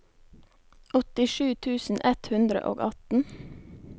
åttisju tusen ett hundre og atten